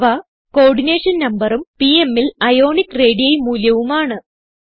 അവ കോഓർഡിനേഷൻ numberഉം pmൽ അയോണിക് റേഡി മൂല്യവും ആണ്